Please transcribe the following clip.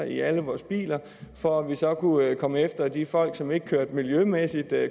i alle vores biler for at vi så kunne komme efter de folk som ikke kørte miljømæssig